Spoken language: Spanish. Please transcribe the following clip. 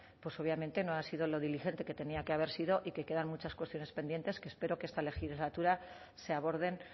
pues obviamente no ha sido lo diligente que tenía que haber sido y que quedan muchas cuestiones pendientes que espero que esta legislatura se aborden